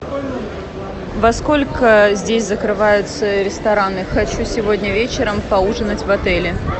во сколько здесь закрываются рестораны хочу сегодня вечером поужинать в отеле